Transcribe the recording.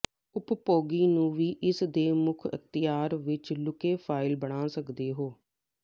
ਉਪਭੋਗੀ ਨੂੰ ਵੀ ਇਸ ਦੇ ਮੁੱਖ ਅਖ਼ਤਿਆਰ ਵਿੱਚ ਲੁਕੇ ਫਾਇਲ ਬਣਾ ਸਕਦੇ ਹੋ